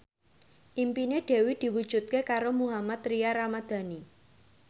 impine Dewi diwujudke karo Mohammad Tria Ramadhani